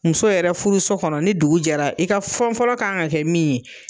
Muso yɛrɛ furu so kɔnɔ ni dugu jɛra i ka fɛn fɔlɔ ka kan ka kɛ min ye